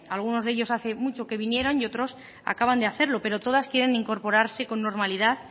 algunos de ellos hace mucho que vinieron y otros acaban de hacerlo pero todas quieren incorporarse con normalidad